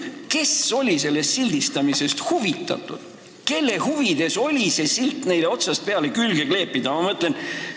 Kelle huvides oli see silt neile algusest peale külge kleepida?